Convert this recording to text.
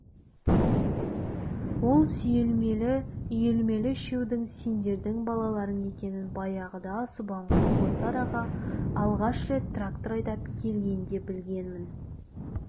ол үйелмелі-сүйелмелі үшеудің сендердің балаларың екенін баяғыда субанқұл осы араға алғаш рет трактор айдап келгенде білгенмін